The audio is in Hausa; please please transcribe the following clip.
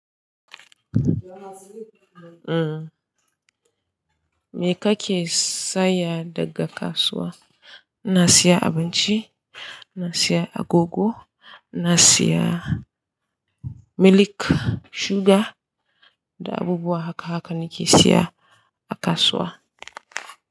Me kake saya daga kasuwa? Ina sayan abinci, ina sayan agogo, ina saya milk, sugar da abubuwa haka haka nake siya a kasuwa.